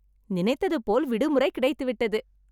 நினைத்தது போல் விடுமுறை கிடைத்து விட்டது